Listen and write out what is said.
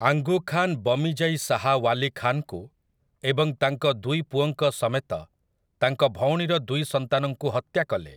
ଆଙ୍ଗୁ ଖାନ୍ ବମିଜାଇ ଶାହା ୱାଲି ଖାନ୍‌ଙ୍କୁ ଏବଂ ତାଙ୍କ ଦୁଇ ପୁଅଙ୍କ ସମେତ ତାଙ୍କ ଭଉଣୀର ଦୁଇ ସନ୍ତାନଙ୍କୁ ହତ୍ୟା କଲେ ।